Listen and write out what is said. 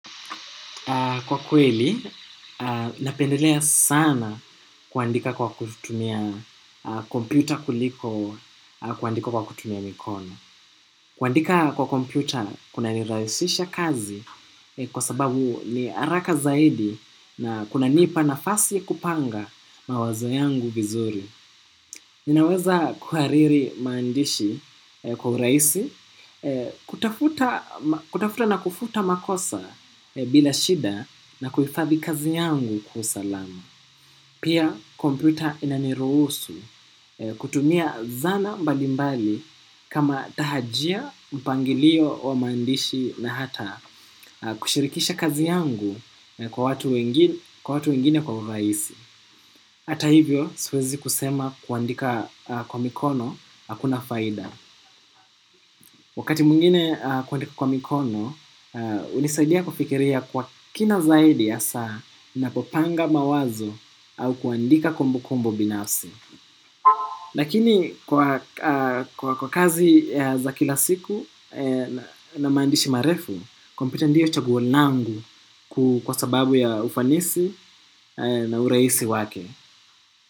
Kwa kweli, napendelea sana kuandika kwa kutumia kompyuta kuliko kuandika kwa kutumia mikono. Kuandika kwa kompyuta kunanirahisisha kazi kwa sababu ni haraka zaidi na kunanipa nafasi kupanga mawazo yangu vizuri. Ninaweza kuhariri maandishi kwa urahisi, kutafuta na kufuta makosa bila shida na kuhifadhi kazi yangu kwa usalama. Pia kompyuta inaniruhusu kutumia zana mbalimbali kama tahajia mpangilio wa maandishi na hata kushirikisha kazi yangu kwa watu wengine kwa urahisi. Hata hivyo, siwezi kusema kuandika kwa mikono hakuna faida. Wakati mwingine kuandika kwa mikono hunisaidia kufikiria kwa kina zaidi hasa ninapopanga mawazo au kuandika kumbukumbu binafsi. Lakini, kwa kazi za kila siku na maandishi marefu, kompyuta ndiyo chaguo langu kwa sababu ya ufanisi na urahisi wake.